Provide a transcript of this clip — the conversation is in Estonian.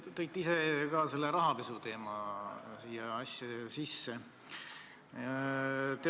Te tõite ise selle rahapesuteema siia sisse.